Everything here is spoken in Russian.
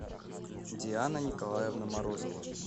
диана николаевна морозова